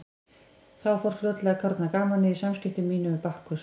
Þá fór fljótlega að kárna gamanið í samskiptum mínum við Bakkus.